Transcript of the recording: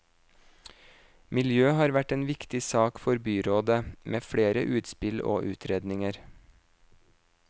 Miljø har vært en viktig sak for byrådet, med flere utspill og utredninger.